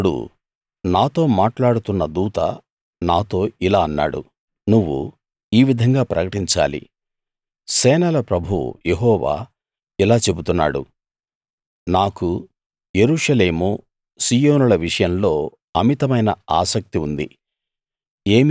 అప్పుడు నాతో మాట్లాడుతున్న దూత నాతో ఇలా అన్నాడు నువ్వు ఈ విధంగా ప్రకటించాలి సేనల ప్రభువు యెహోవా ఇలా చెబుతున్నాడు నాకు యెరూషలేము సీయోనుల విషయంలో అమితమైన ఆసక్తి ఉంది